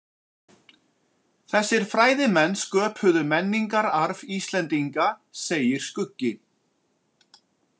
Þessir fræðimenn sköpuðu menningararf Íslendinga, segir Skuggi.